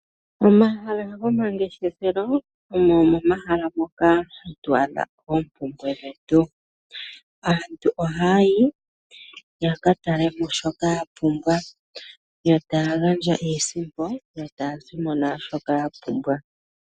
Omahala gomangeshefelo omo momahala moka hatu adha oompumbwe dhetu. Aantu ohaya yi ya katale mo shoka ya pumbwa yo taya gandja iisimpo yo taya zi mo naa shoka ya pumbwa.